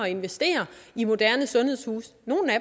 at investere i moderne sundhedshuse nogle af